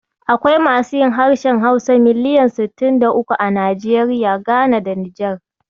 Akwai masu yin harshen Hausa miliyan sittin da uku a Najeriya, Gana da Nijar.